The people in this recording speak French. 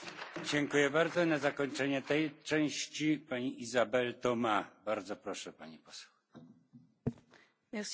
Monsieur le Président, Monsieur le Commissaire, chers collègues, les régions ultrapériphériques de l'Union sont en crise et sont confrontées à une grande pauvreté.